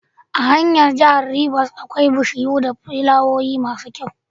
A hanyar jahar rivers akwai bishiyu da flawoyi masu kyau